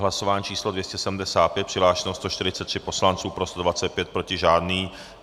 Hlasování číslo 275, přihlášeno 143 poslanců, pro 125, proti žádný.